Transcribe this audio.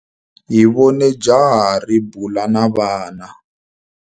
Hi vone jaha ri bula na vana.